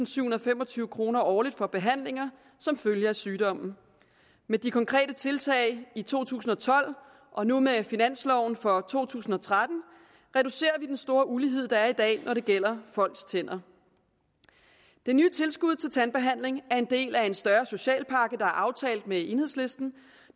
sytten fem og tyve kroner årligt for behandlinger som følge af sygdommen med de konkrete tiltag i to tusind og tolv og nu med finansloven for to tusind og tretten reducerer vi den store ulighed der er i dag når det gælder folks tænder den nye tilskud til tandbehandling er en del af en større social pakke der er aftalt med enhedslisten